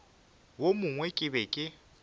wo mongwe ke be ke